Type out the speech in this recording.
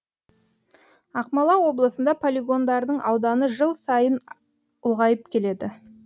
ақмола облысында полигондардың ауданы жыл сайын ұлғайып келеді